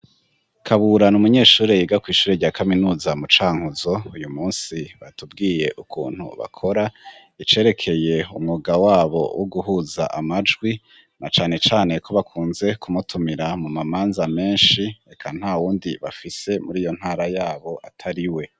Kabura ni umunyeshuri yiga kw'ishuri rya kaminuza mu Canku, zo uyu munsi batubwiye ukuntu bakora icerekeye umwuga wabo wo guhuza amajwi, na canecane ko bakunze kumutumira mu mamanza menshi, eka nta wundi bafise muri iyo ntara yabo atari we.